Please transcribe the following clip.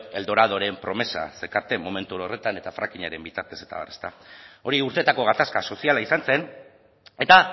el doradoren promesak zekarten momentu horretan eta frackingaren bitartez eta abar ezta hori urteetako gatazka soziala izan zen eta